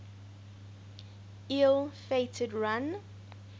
ill fated run